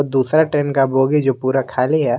दूसरा ट्रेन का बोगी जो पूरा खाली है।